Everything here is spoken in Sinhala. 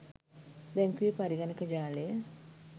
බැංකුවේ පරිගණක ජාලය